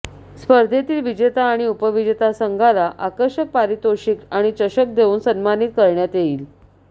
स्पर्धेतील विजेता आणि उपविजेता संघाला आकर्षक पारितोषिक आणि चषक देऊन सन्मानित करण्यात येईल